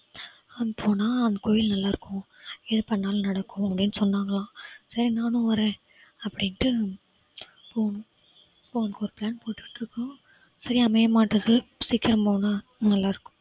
அங்க போனா அந்த கோயில் நல்லா இருக்கும் எது பண்ணாலும் நடக்கும் அப்படின்னு சொன்னாங்களாம். சரி நானும் வரேன் அப்படின்னு போணும். ஒரு plan போட்டுட்டு இருக்கோம். சரியா அமைய மாட்டேங்குது சீக்கிரம் போனா நல்லா இருக்கும்